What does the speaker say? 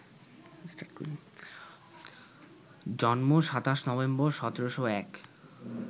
জন্ম ২৭ নভেম্বর, ১৭০১